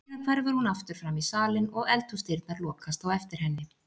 Síðan hverfur hún aftur framí salinn og eldhúsdyrnar lokast á eftir henni.